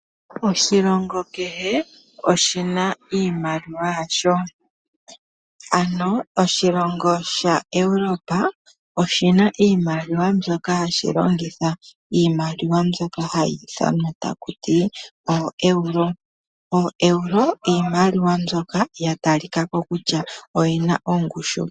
Oshilongo kehe oshina iimaliwa yasho, ano oshilongo shaEurope oshina iimaliwa mbyoka hashi longitha. Iimaliwa mbyoka hayi ithanwa taku ti ooEuro. OoEuro iimaliwa mbyoka ya talika ko kutya oyina ongushu.